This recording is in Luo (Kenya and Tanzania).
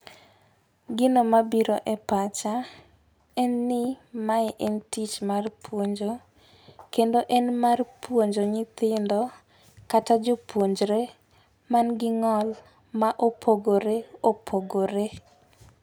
Gino mabiro e pacha en ni mae en tich mar puonjo kendo en mar puonjo nyithindo kata jopuonjre man gi ng'ol ma opogore opogore.